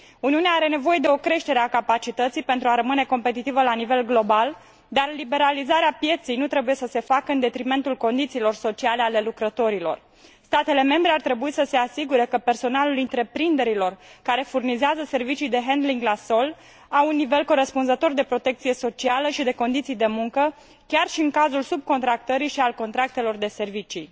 Uniunea are nevoie de o creștere a capacității pentru a rămâne competitivă la nivel global, dar liberalizarea pieței nu trebuie să se facă în detrimentul condițiilor sociale ale lucrătorilor. Statele membre ar trebui să se asigure că personalul întreprinderilor care furnizează servicii de handling la sol are un nivel corespunzător de protecție socială și de condiții de muncă, chiar și în cazul subcontractării și al contractelor de servicii.